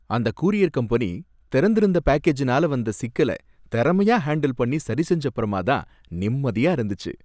அந்த courier company திறந்திருந்த பேக்கேஜ்னால வந்த சிக்கல திறமையா ஹேண்டில் பண்ணி சரிசெஞ்சப்பறமா தான் நிம்மதியா இருந்துச்சு.